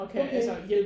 Okay